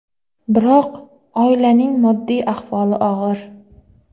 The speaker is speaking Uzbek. Biroq oilaning moddiy ahvoli og‘ir.